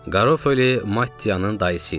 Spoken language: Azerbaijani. Garofoli Mattianın dayısı idi.